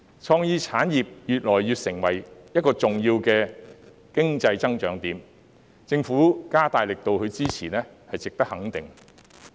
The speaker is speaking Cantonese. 創意產業已成為一個越趨重要的經濟增長點，政府加大力度支持是值得肯定的。